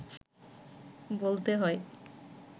বলতে হয়